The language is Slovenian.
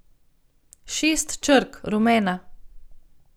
Šest črk: 'rumena'.